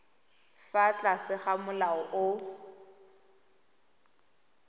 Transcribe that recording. fa tlase ga molao o